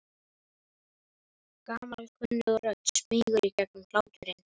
Gamalkunnug rödd smýgur í gegnum hláturinn.